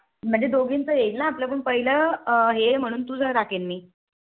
म्हणजे दोघींचे येईल आपलं पहिले हे आहे ना म्हंणून तुझं टाकेल मी